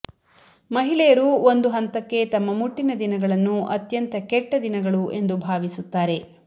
ಮಹಿಳೆಯರು ಒಂದು ಹಂತಕ್ಕೆ ತಮ್ಮ ಮುಟ್ಟಿನ ದಿನಗಳನ್ನು ಅತ್ಯಂತ ಕೆಟ್ಟ ದಿನಗಳು ಎಂದು ಭಾವಿಸುತ್ತಾರೆ